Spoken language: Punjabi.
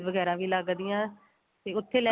ਵਗੈਰਾ ਵੀ ਲੱਗਦੀਆਂ ਤੇ ਉੱਥੇ ਲੈ